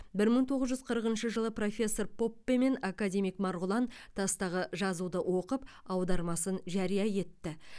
бір мың тоғыз жүз қырқыншы жылы профессор поппе мен академик марғұлан тастағы жазуды оқып аудармасын жария етті